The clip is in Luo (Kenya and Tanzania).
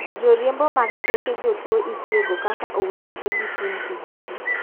Joriembo mag geche jotuo itiego kaka owinjore gitim tije gi.